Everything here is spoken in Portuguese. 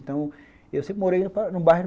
Então, eu sempre morei num bairro